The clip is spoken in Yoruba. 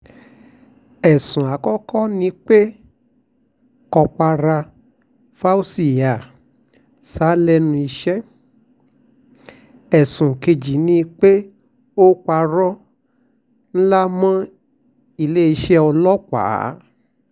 ẹ̀sùn àkọ́kọ́ ni pé kọ́pàrá fauzziyah sá lẹ́nu iṣẹ́ ẹ̀sùn kejì ni pé ó parọ́ ńlá mọ́ iléeṣẹ́ ọlọ́pàá